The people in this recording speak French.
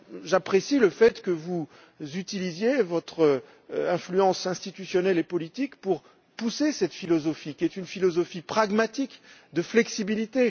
J'apprécie le fait que vous utilisiez votre influence institutionnelle et politique pour pousser cette philosophie, qui est une philosophie pragmatique, de flexibilité.